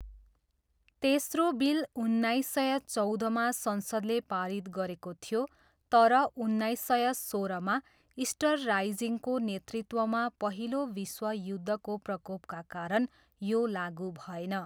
तेस्रो बिल उन्नाइस सय चौधमा संसदले पारित गरेको थियो, तर उन्नाइस सय सोह्रमा इस्टर राइजिङको नेतृत्वमा पहिलो विश्वयुद्धको प्रकोपका कारण यो लागु भएन।